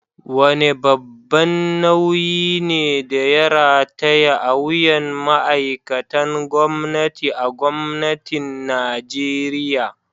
Wane babban nauyi ne da ya rataya a wuyan ma’aikatan gwamnati a Gwamnatin Najeriya?